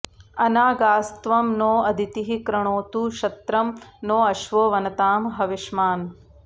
अ॒ना॒गा॒स्त्वं नो॒ अदि॑तिः कृणोतु क्ष॒त्रं नो॒ अश्वो॑ वनतां ह॒विष्मा॑न्